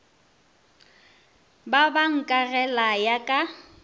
be ba nkagela ya ka